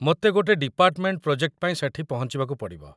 ମୋତେ ଗୋଟେ department project ପାଇଁ ସେଠି ପହଞ୍ଚିବାକୁ ପଡ଼ିବ ।